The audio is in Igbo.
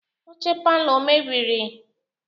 Oche palọ o mebiri?